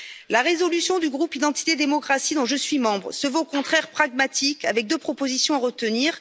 La résolution du groupe Identité et Démocratie, dont je suis membre, se veut au contraire pragmatique avec deux propositions à retenir.